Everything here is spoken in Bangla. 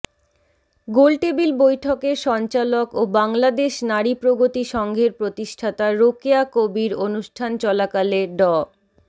গোল টেবিল বৈঠকের সঞ্চালক ও বাংলাদেশ নারী প্রগতি সংঘের প্রতিষ্ঠাতা রোকেয়া কবীর অনুষ্ঠান চলাকালে ড